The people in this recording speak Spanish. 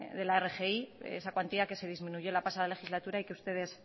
de la rgi esa cuantía que se disminuyó la pasada legislatura y que ustedes